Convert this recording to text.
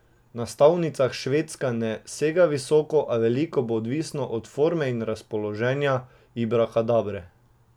Na stavnicah Švedska ne sega visoko, a veliko bo odvisno od forme in razpoloženja Ibrakadabre.